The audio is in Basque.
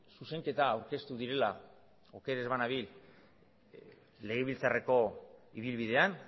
zuzenketa aurkeztu direla oker ez banabil legebiltzarreko ibilbidean